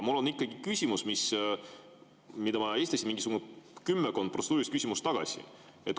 Mul on ikkagi küsimus, mille ma esitasin mingisugune kümmekond protseduurilist küsimust tagasi.